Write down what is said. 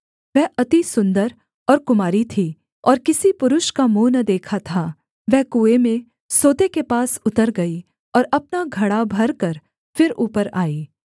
वह अति सुन्दर और कुमारी थी और किसी पुरुष का मुँह न देखा था वह कुएँ में सोते के पास उतर गई और अपना घड़ा भरकर फिर ऊपर आई